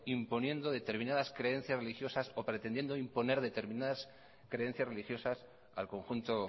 imponiendo determinadas creencias religiosas o pretendiendo imponer determinadas creencias religiosas al conjunto